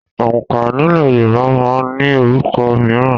Òǹkà nílẹ̀ Yorùbá máa ń ní orúkọ míràn